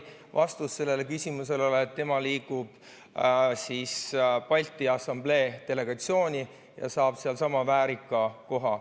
Vastus sellele küsimusele oli, et tema liigub Balti Assamblee delegatsiooni ja saab seal sama väärika koha.